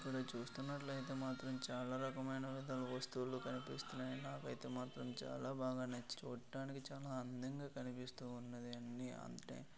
మనం చూస్తున్నట్లయితే మాత్రం చాలా రకాల వస్తువులు కనిపిస్తున్నాయి. నాకైతే మాత్రం చాలా బాగానే చూడ్డానికి చాలా అందంగా కనిపిస్తూ ఉన్నది అన్నీ అంతటే.